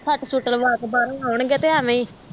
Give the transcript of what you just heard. ਸੱਟ ਸੁੱਟ ਲਵਾ ਕੇ ਬਾਹਰੋਂ ਆਉਣ ਗੇ ਤੇ ਐਵੇਂ ਹੀ